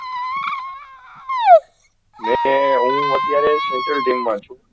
મે હુ અત્યારે મા છુ